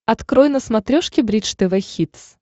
открой на смотрешке бридж тв хитс